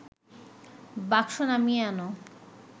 বাক্স নামিয়ে আন